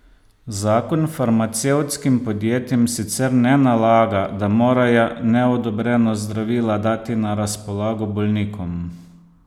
Zakon farmacevtskim podjetjem sicer ne nalaga, da morajo neodobrena zdravila dati na razpolago bolnikom.